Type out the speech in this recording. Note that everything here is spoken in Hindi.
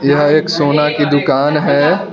यह एक सोना की दुकान है।